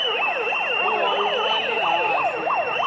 moholo wule hansi